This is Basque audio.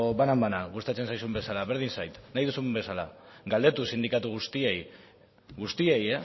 banan banan gustatzen zaizun bezala berdin zait nahi duzun bezala galdetu sindikatu guztiei guztiei